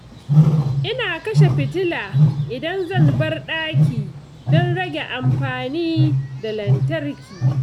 Ina kashe fitila idan zan bar ɗaki don rage amfani da lantarki.